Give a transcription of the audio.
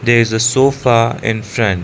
there is a sofa in front--